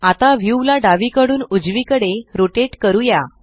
आता व्यू ला डावीकडून उजवीकडे रोटेट करूया